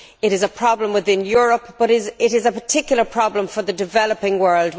This is a problem within Europe, but it is a particular problem for the developing world.